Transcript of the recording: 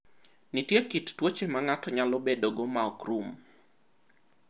Nitie kit tuoche ma ng’ato nyalo bedogo ma ok rum.